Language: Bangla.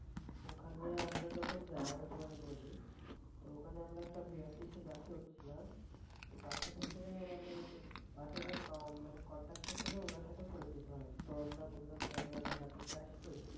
ওখানে আমরা যখন যাই আমি তোমারে বলি তো ওখানে আমরা একটা BRTC বাসে উঠছিলাম। তারপর বাসে হচ্ছে আমাদের ঐযে বাসে যে কন্টাকদার ছিল উনার সাথে পরিচিত হই। ত আমরা বললাম যে আমরা ঢাকা থেকে আসছি।